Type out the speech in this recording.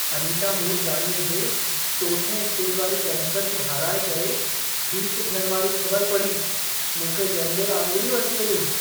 अनीता मूरजाणीअ जे 4 स्टेज वारी कैंसर खे हाराए करे ठीक थियण वारी ख़बर पढ़ी मूंखे ॾंदे आङुरियूं अची वयूं!